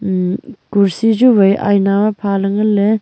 umh kursi chu wai aina ma pha ley ngan ley.